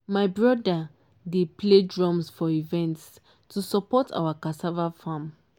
my brother dey play drums for events to support our cassava farm.